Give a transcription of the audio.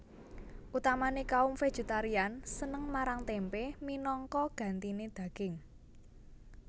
Utamané kaum vegetarian seneng marang témpé minangka gantiné daging